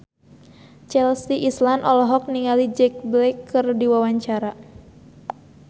Chelsea Islan olohok ningali Jack Black keur diwawancara